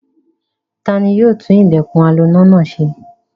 Ta ni yóò tún ilẹ̀kùn aloná náà ṣe?